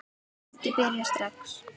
Ég vildi byrja strax.